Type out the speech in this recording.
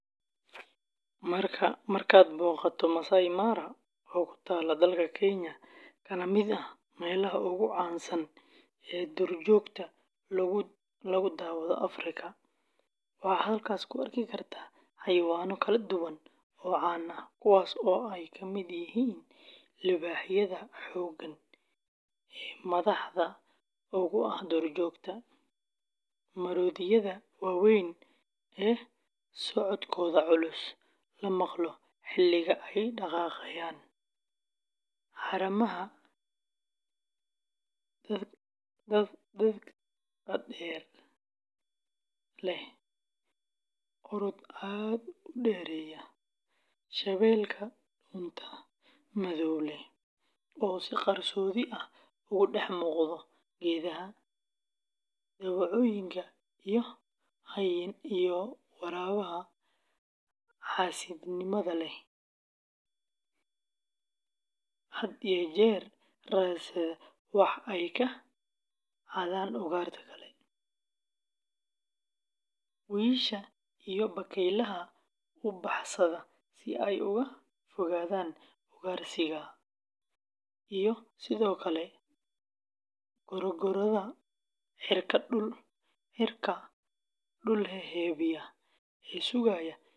Markaad booqato Maasai Mara, oo ku taalla dalka Kenya kana mid ah meelaha ugu caansan ee duurjoogta lagu daawado Afrika, waxaad halkaas ku arki kartaa xayawaanno kala duwan oo caan ah, kuwaas oo ay ka mid yihiin libaaxyada xooggan ee madaxda uga ah duurjoogta, maroodiyada waaweyn ee socodkooda culus la maqlo xilliga ay daaqayaan, haramaha dhakada dheer ee leh orod aad u dheereeya, shabeelka dhuunta madow leh ee si qarsoodi ah uga dhex muuqda geedaha, dawacooyinka iyo hyenada xaasidnimada leh ee had iyo jeer raadsata wax ay ka xadaan ugaarta kale, wiyisha iyo bakaylaha u baxsada si ay uga fogaadaan ugaarsiga, iyo sidoo kale gorgorrada cirka dul heehaabaya ee sugaya hilibka hadha.